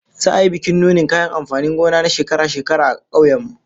Za'a yi bikin nunin kayan amfanin gona na shekara-shekara a kauyen mu